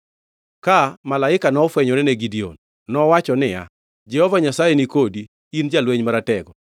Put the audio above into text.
Ka malaika nofwenyore ne Gideon, nowacho niya, “Jehova Nyasaye ni kodi, in jalweny maratego.”